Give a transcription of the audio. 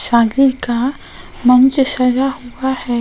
शादी का मंच सजा हुआ है।